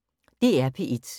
DR P1